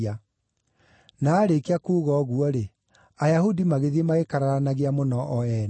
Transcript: (Na aarĩkia kuuga ũguo-rĩ, Ayahudi magĩthiĩ magĩkararanagia mũno o ene.)